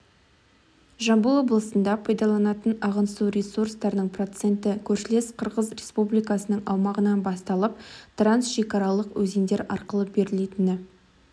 жамбыл облысында пайдаланатын ағын су ресурстарының проценті көршілес қырғыз республикасының аумағынан басталып трансшекаралық өзендер арқылы берілетіні